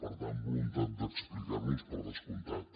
per tant voluntat d’explicar nos per descomptat